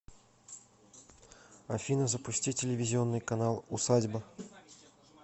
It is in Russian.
афина запусти телевизионный канал усадьба